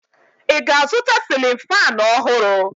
Ị ga-azụta sịlịn faanụ ọhụrụ?